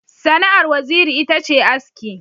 Sana'ar Waziri ita ce aski.